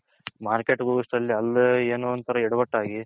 market ಹೋಗೋ ಅಷ್ಟರಲ್ಲಿ ಅಲ್ಲಿ ಏನೋ ಒಂತರ ಎಡವಟ್ ಆಗಿ